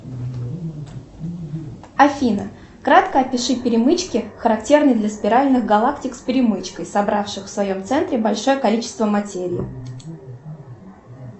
афина кратко опиши перемычки характерны для спиральных галактик с перемычкой собравших в своем центре большое количество материи